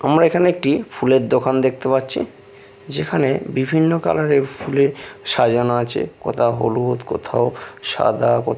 আমরা এখানে একটি ফুলের দোকান দেখতে পাচ্ছি যেখানে বিভিন্ন কালার -এর ফুলে সাজানো আছে কোথাও হলুদ কোথাও সাদা কো--